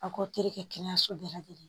A k'aw teri kɛ kɛnɛyaso bɛɛ lajɛlen ye.